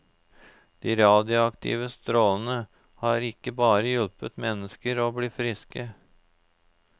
De radioaktive strålene har ikke bare hjulpet mennesker å bli friske.